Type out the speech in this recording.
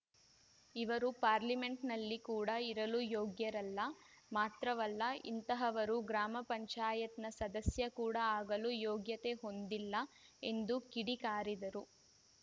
ಇವರು ಪಾರ್ಲಿಮೆಂಟ್‌ನಲ್ಲಿ ಕೂಡ ಇರಲು ಯೋಗ್ಯರಲ್ಲ ಮಾತ್ರವಲ್ಲ ಇಂತಹವರು ಗ್ರಾಮ ಪಂಚಾಯತ್‌ನ ಸದಸ್ಯ ಕೂಡ ಆಗಲು ಯೋಗ್ಯತೆ ಹೊಂದಿಲ್ಲ ಎಂದು ಕಿಡಿ ಕಾರಿದರು